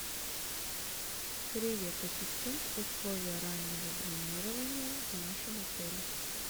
привет ассистент условия раннего бронирования в нашем отеле